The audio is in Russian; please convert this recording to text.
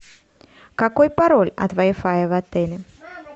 какой пароль от вай фая в отеле